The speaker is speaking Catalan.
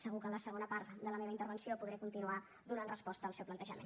segur que en la segona part de la meva intervenció podré continuar donant resposta al seu plantejament